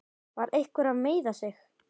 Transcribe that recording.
Var einhver að meiða sig?